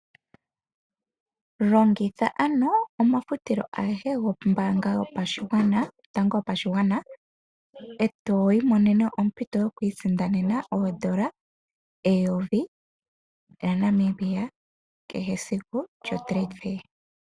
Longitha omafutilo goombaanga yotango yopashigwana. Eto imonene ompito yokwiisindanena oodola dhaNamibia omayovi kehe esiku lyomauliko giipindi.